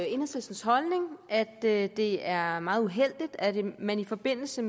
enhedslistens holdning at det det er meget uheldigt at man i forbindelse